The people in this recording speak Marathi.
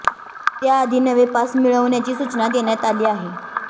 त्याआधी नवे पास मिळवण्याची सूचना देण्यात आली आहे